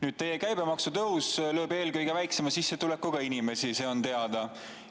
Nüüd, teie käibemaksutõus lööb eelkõige väiksema sissetulekuga inimesi, see on teada.